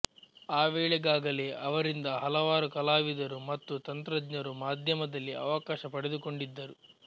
ಆವೇಳೆಗಾಗೆಲೇ ಅವರಿಂದ ಹಲವಾರು ಕಲಾವಿದರು ಮತ್ತು ತಂತ್ರಙ್ನರು ಮಾಧ್ಯಮದಲ್ಲಿ ಅವಕಾಶ ಪಡೆದುಕೊಂಡಿದ್ದರು